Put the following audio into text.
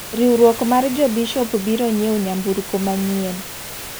Riwruok mar jo bishop biro nyiewo ntamburko manyien.